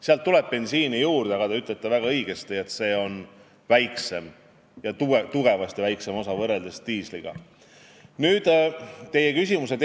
Sinna tuleb juurde bensiin, aga nagu te väga õigesti ütlesite, on selle osakaal võrreldes diisliga tunduvalt väiksem.